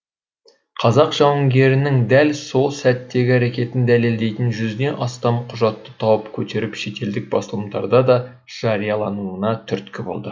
қазақ жауынгерінің дәл сол сәттегі әрекетін дәлелдейтін жүзден астам құжатты тауып көтеріп шетелдік басылымдарда да жариялануына түрткі болды